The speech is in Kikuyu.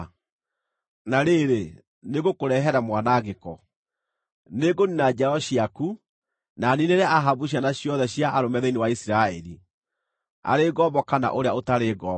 ‘Na rĩrĩ, nĩngũkũrehere mwanangĩko. Nĩngũniina njiaro ciaku, na niinĩre Ahabu ciana ciothe cia arũme thĩinĩ wa Isiraeli, arĩ ngombo kana ũrĩa ũtarĩ ngombo.